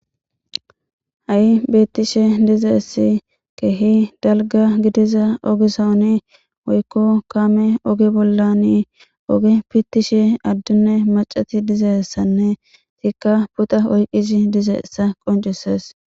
Ha'i beettishe dizeessi kehi dalga gidiza ogisaoni oykko kaame oge bollani oge pittishe addunne macati dizessanne tikka puta oyqizi dizeessa qoncisees.